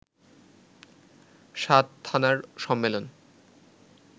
৭ থানার সম্মেলন